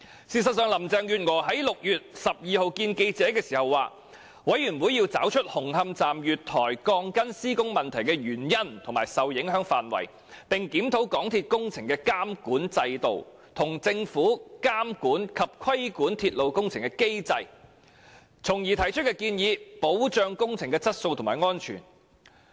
事實上，林鄭月娥在6月12日會見記者時表示，獨立調查委員會要找出紅磡站月台鋼筋施工問題的原因和受影響範圍，並檢討港鐵公司的工程監管制度，以及政府監管及規管鐵路工程的機制，從而提出建議，保障工程質素和安全。